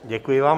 Děkuji vám.